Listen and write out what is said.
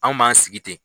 Anw b'an sigi ten